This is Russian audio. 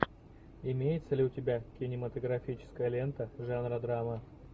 имеется ли у тебя кинематографическая лента жанра драма